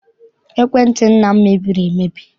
Ekwentị nna m mebiri emebi.